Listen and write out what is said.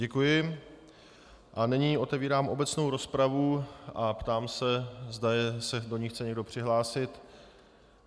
Děkuji a nyní otevírám obecnou rozpravu a ptám se, zda se do ní chce někdo přihlásit.